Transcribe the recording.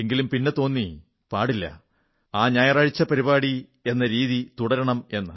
എങ്കിലും പിന്നെ തോന്നി പാടില്ല ആ ഞായറാഴ്ചപ്പരിപാടി എന്ന രീതി തുടരണം എന്ന്